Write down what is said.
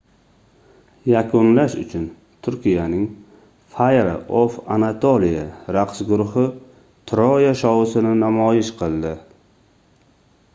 yakunlash uchun turkiyaning fire of anatolia raqs guruhi troya shousini namoyish qildi